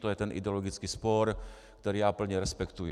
To je ten ideologický spor, který já plně respektuji.